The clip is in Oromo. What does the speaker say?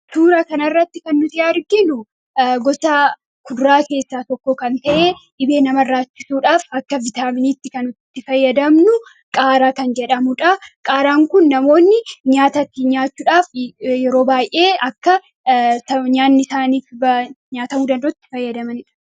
atuuraa kanarratti kannuti yaarginu gotaa kudraa keessaa tokko kan ta'ee dhibee nama irraachisuudhaaf akka vitaaminiitti kanutti fayyadamnu qaaraa kan jedhamudha qaaraan kun namoonni nyaatatti nyaachuudhaaf yeroo baay'ee akka nyaannisaaniif nyaatamuu dandootti fayyadamaniidh